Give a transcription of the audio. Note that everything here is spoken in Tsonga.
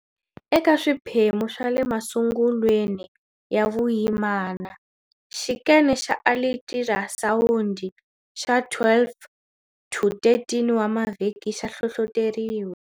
Eka swiphemu swa le masungulwe ni ya vuyimana, xikene xa alitirasawundi xa 12-13 wa mavhiki xa hlohloteriwa.